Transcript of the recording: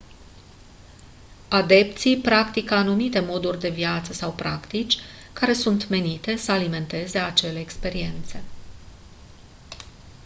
adepții practică anumite moduri de viață sau practici care sunt menite să alimenteze acele experiențe